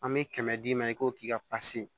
An bɛ kɛmɛ d'i ma i k'o k'i ka